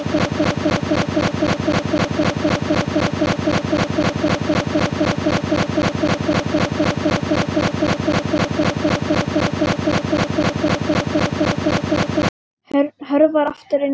Hörfar aftur inn í stofu.